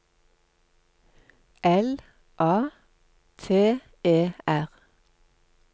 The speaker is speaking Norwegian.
L A T E R